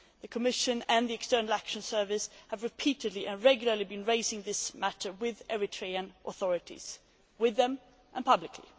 The Commission and the External Action Service have repeatedly and regularly raised this matter with the Eritrean authorities, both in private and publicly.